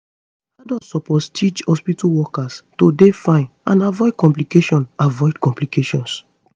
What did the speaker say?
adults suppose teach hospitu workers to dey fine and avoid complications avoid complications